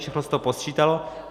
Všechno se to posčítalo.